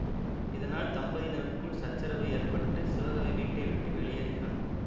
இதனால் தம்பதியினருக்குள் சச்சரவு ஏற்பட்டு சிவகவி வீட்டை விட்டு வெளியேறுகிறான்